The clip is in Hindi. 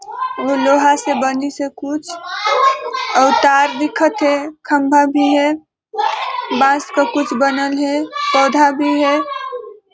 ए में लोहा से बने से कुछ अउ तार दिखत हे खम्भा भी हे बांस का कुछ बनल है पौधा भी हे।